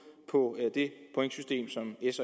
på det pointsystem som s